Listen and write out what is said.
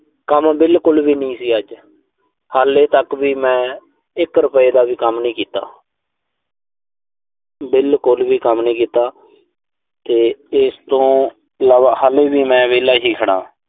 ਕੰਮ ਬਿਲਕੁਲ ਵੀ ਨੀਂ ਸੀ ਅੱਜ। ਹਾਲੇ ਤੱਕ ਵੀ ਮੈਂ, ਇੱਕ ਰੁਪਏ ਦਾ ਵੀ ਕੰਮ ਨਈਂ ਕੀਤਾ। ਬਿਲਕੁਲ ਵੀ ਕੰਮ ਨਈਂ ਕੀਤਾ। ਤੇ ਇਸ ਤੋਂ ਇਲਾਵਾ ਹਾਲੇ ਵੀ ਮੈਂ ਵਿਹਲਾ ਹੀ ਖੜਾਂ।